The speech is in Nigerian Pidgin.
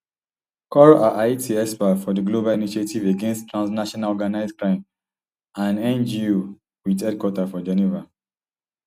cour a haiti expert for di global initiative against transnational organized crime an ngo wit headquarters for geneva